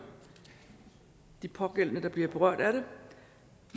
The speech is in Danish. de pågældende der bliver berørt af det